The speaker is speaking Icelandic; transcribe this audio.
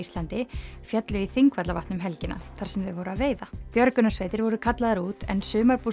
féllu í Þingvallavatn um helgina þar sem þau voru að veiða björgunarsveitir voru kallaðar út en